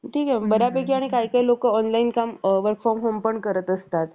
ठीक आहे बऱ्यापैकी आणि काही काही लोक online काम work from home पण करत असतात